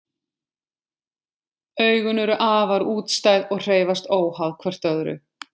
Augun eru afar útstæð og hreyfast óháð hvort öðru.